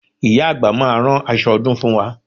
Ìyá àgbà máa rán aṣọ ọdún fún wa